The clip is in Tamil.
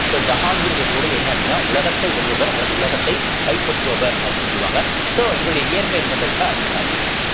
so ஜஹாங்கிருடைய பொருள் என்ன அப்படின்னா உலகத்தை வெல்பவர் அல்லது உலகத்தை கைப்பற்றுபவர் அப்படின்னு சொல்லுவாங்க so இவருடைய இயற்பெயர் என்ன பேரு என்ன சலீம்